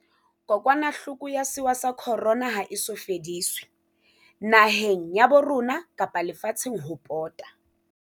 Kokwanahloko ya sewa sa Corona ha e so fediswe, naheng ya bo rona kapa le fatsheng ho pota.